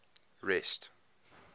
rest